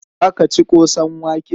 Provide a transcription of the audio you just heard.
Za ka ci ƙosan wake?